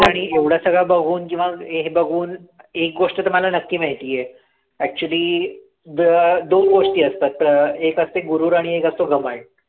आणि एवढं सगळं बघून जेव्हा हे बघून एक गोष्ट तर मला नक्की माहितीये actually द अं दोन गोष्टी असतात एक असते गुरूर आणि एक असतो घमंड